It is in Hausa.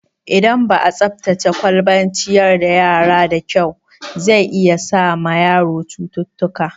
Idan ba'a tsaftace kwalban ciyar da yara da kyau, zai iya sa ma yaro cututtuka